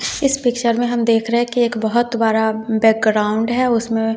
इस पिक्चर में हम देख रहे हैं कि एक बहोत बड़ा बैकग्राउंड है उसमें--